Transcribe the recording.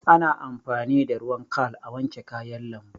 Ana amfani da ruwan khal a, wanke kayan lambu